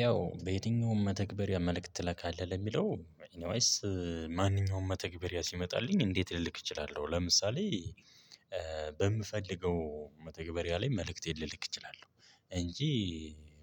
ያው በየትኛውም መተግበሪያ መልእክት ትላካለህ ለሚለው ኤኒዌይስ ማንኛውም መተግበሪያ ሲመጣልኝ እንዴት ልልክ እችላለሁ። ለምሳሌ። በምፈልገው መተግበሪያ ላይ መልእክቴን ልልክ እችላለሁ እንጂ።